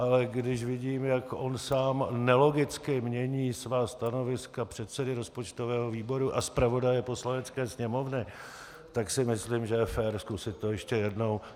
Ale když vidím, jak on sám nelogicky mění svá stanoviska předsedy rozpočtového výboru a zpravodaje Poslanecké sněmovny, tak si myslím, že je fér to zkusit ještě jednou.